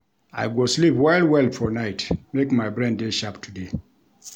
I go sleep well-well for night, make my brain dey sharp today.